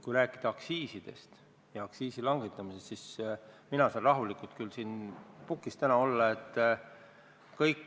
Kui rääkida aktsiisidest ja aktsiisi langetamisest, siis mina saan küll täna siin pukis rahulik olla.